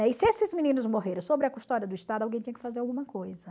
E se esses meninos morreram sobre a custódia do Estado, alguém tinha que fazer alguma coisa.